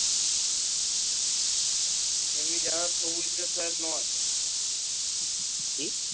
এমনি যা সুবজদের পায়ে নয় কি?